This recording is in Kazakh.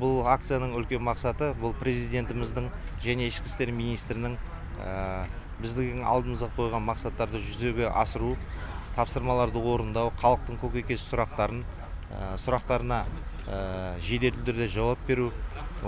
бұл акцияның үлкен мақсаты бұл президентіміздің және ішкі істер министрінің біздің алдымызға қойған мақсаттарды жүзеге асыру тапсырмаларды орындау халықтың көкейкесті сұрақтарына жеделді түрде жауап беру